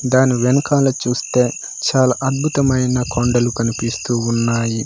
దాని వెనకాల చూస్తే చాలా అద్భుతమైన కొండలు కనిపిస్తూ ఉన్నాయి.